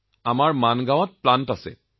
আমাৰ মানগাঁও প্লাণ্টো আছে